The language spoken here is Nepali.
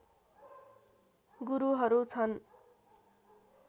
गुरुहरू छन्